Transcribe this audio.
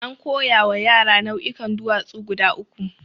An koya wa yara nau'ikan duwatsu guda uku.